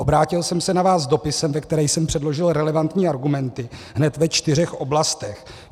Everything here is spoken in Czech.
Obrátil jsem se na vás s dopisem, ve kterém jsem předložil relevantní argumenty hned ve čtyřech oblastech.